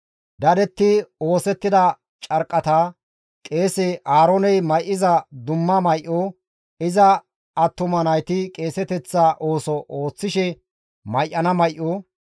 dadetti oosettida carqqata, qeese Aarooney may7iza dumma may7o, iza attuma nayti qeeseteththa ooso ooththishe may7ana may7o,